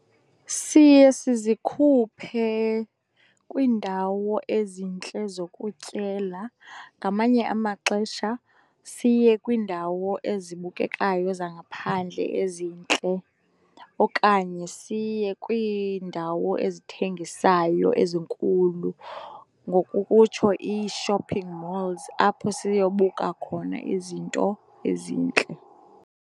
Siye sizikhuphe kwiindawo ezintle zokutyela, ngamanye amaxesha siye kwiindawo ezibukekayo zangaphandle ezintle. Okanye siye kwiindawo ezithengisayo ezinkulu, ngokokutsho ii-shopping malls apho siyobuka khona izinto ezintle.